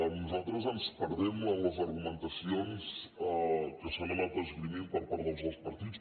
nosaltres ens perdem en les argumentacions que s’han anat esgrimint per part dels dos partits